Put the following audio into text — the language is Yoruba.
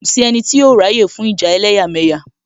Kò sí ẹnì tí yóò ráyè fún ìjà ẹlẹ́yàmẹ̀yà